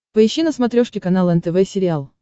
поищи на смотрешке канал нтв сериал